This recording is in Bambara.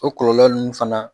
O kɔlɔlɔ ninnu fana